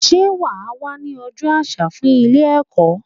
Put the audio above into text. Sé wà á wá ní ojó àsà fún Ilé èkó?